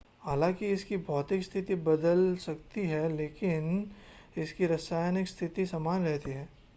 हालांकि इसकी भौतिक स्थिति बदल सकती है लेकिन इसकी रासायनिक स्थिति समान रहती है